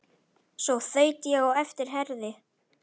Svo þaut ég á eftir Herði.